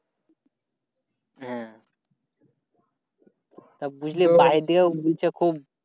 হ্যাঁ বাড়ি থেকেও বলছে খুব।